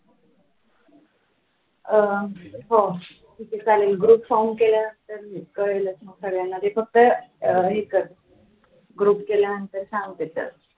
अं हो ठीके चालेल group form केल्यानंतर कळेलच मग सगळ्यांना ते फक्त हे कर group केल्यानंतर सांगते